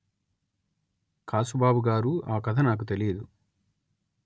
కాసుబాబు గారూ ఆ కథ నాకు తెలియదు